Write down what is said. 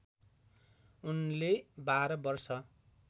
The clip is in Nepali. उनले १२ वर्ष